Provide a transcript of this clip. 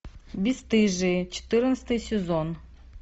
бесстыжие четырнадцатый сезон